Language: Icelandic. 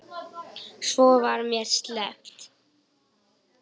Svo var mér sleppt.